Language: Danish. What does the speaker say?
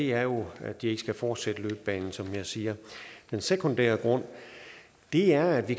er jo at de ikke skal fortsætte løbebanen som jeg siger den sekundære grund er at vi